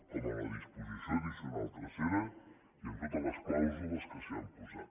com a disposició addicional tercera i amb totes les clàusules que s’hi han posat